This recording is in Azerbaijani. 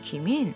Kimin?